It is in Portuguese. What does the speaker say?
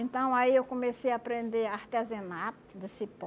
Então, aí eu comecei a aprender artesanato de cipó.